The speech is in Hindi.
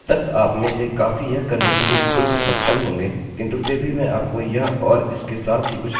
अब तक आपमें से काफी यह करने के लिए खुद से सक्षम होंगे किन्तु फिर भी मैं आपको यह और इसके साथ ही कुछ अन्य उपयोगी चीज़ों के बारे में बताऊँगा